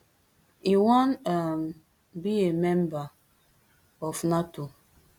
e wan um be a member of nato